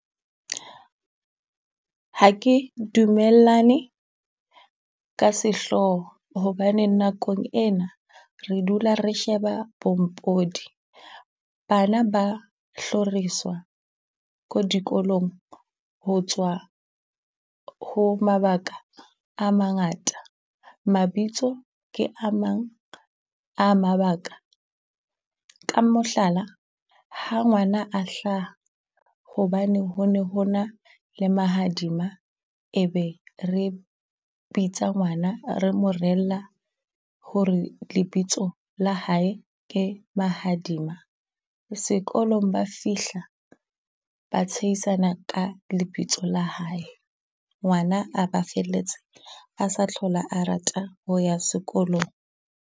Ha ke dumellane ka sehlooho hobane nakong ena, re dula re sheba pompodi bana ba hloriswa ko dikolong. Ho tswa ho mabaka a mangata mabitso ke a mang a mabaka. Ka mohlala, ha ngwana a hlaha hobane ho ne ho na le mahadima e be re bitsa ngwana, re mo reella h re lebitso la hae ke Mahadima. Sekolong ba fihla ba tshehisana ka lebitso la hae, Ngwana a ba felletse a sa tlhola a rata ho ya sekolong.